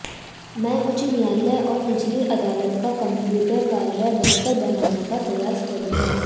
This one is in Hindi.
मैं उच्च न्यायालय और निचली अदालत का कंप्यूटर कार्य बेहतर बनाने का प्रयास करूंगा